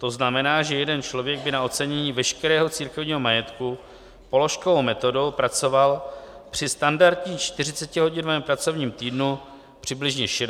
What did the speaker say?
To znamená, že jeden člověk by na ocenění veškerého církevního majetku položkovou metodou pracoval při standardním 40hodinovém pracovním týdnu přibližně 60 let.